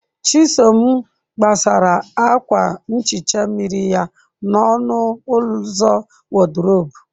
Chisom gbasara akwa nhicha mmiri ya n'ọnụ ụzọ wọdrobu.